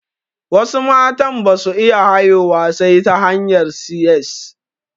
Wasu matan basu iya haihuwa sai ta hanyar 'si ƴes'